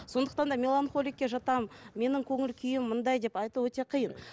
сондықтан да меланхоликке жатамын менің көңіл күйім мынандай деп айту өте қиын